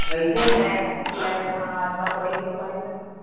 ਇੱਥੇ ਲੇਟ ਅਜ ਤਾਂ ਬੁਰਾ ਹੀ ਐ